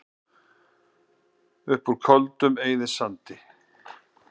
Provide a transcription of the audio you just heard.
Upp úr Köldum eyðisandi